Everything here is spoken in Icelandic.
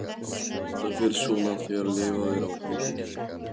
Það fer svona þegar lifað er á hangikjöti.